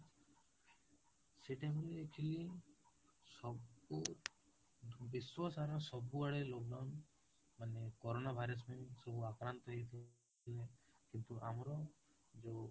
ସେଇ time ରେ ଦେଖିଲି ସବୁ ବିଶ୍ୱସାରା ସବୁ ଆଡେ lockdown ମାନେ corona virus ପାଇଁ ସବୁ ଆପରାନ୍ତ ହେଇଥିଲେ କିନ୍ତୁ ଆମର ଯୋଉ